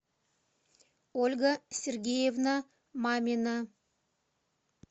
ольга сергеевна мамина